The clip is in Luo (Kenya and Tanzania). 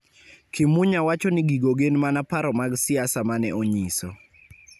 Kimunya wacho ni gigo gin mana paro mag siasa mane onyiso